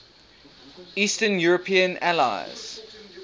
eastern european allies